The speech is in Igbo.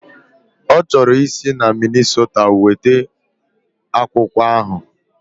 Ọ chọrọ isi na Minnisota weta akwụkwọ ahụ